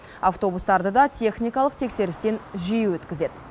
автобустарды да техникалық тексерістен жиі өткізеді